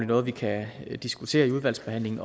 noget vi kan diskutere i udvalgsbehandlingen